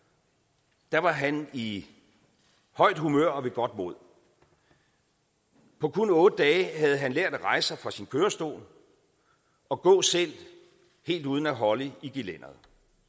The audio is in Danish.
jeg var han i højt humør og ved godt mod på kun otte dage havde han lært at rejse sig fra sin kørestol og gå selv helt uden at holde i gelænderet